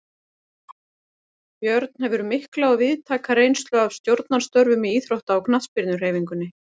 Björn hefur mikla og víðtæka reynslu af stjórnarstörfum í íþrótta- og knattspyrnuhreyfingunni.